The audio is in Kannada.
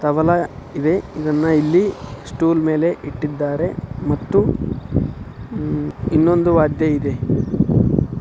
ತಬಲಾ ಇದೆ-- ಇದನ್ನ ಇಲ್ಲಿ ಸ್ಟೂಲ್ ಮೇಲೆ ಇಟ್ಟಿದಾರೆ ಮತ್ತು ಇನ್ನೊಂದು ವಾದ್ಯ ಇದೆ.